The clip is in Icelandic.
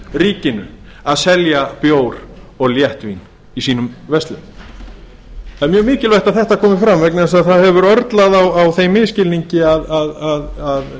ríkinu að selja bjór og léttvín í sínum verslunum það er mjög mikilvægt að þetta komi fram vegna þess að það hefur örlað á þeim misskilningi að